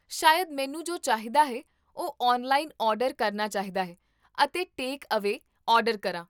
ਸ਼ਾਇਦ ਮੈਨੂੰ ਜੋ ਚਾਹੀਦਾ ਹੈ ਉਹ ਔਨਲਾਈਨ ਆਰਡਰ ਕਰਨਾ ਚਾਹੀਦਾ ਹੈ ਅਤੇ ਟੇਕ ਅਵੇ ਆਰਡਰ ਕਰਾਂ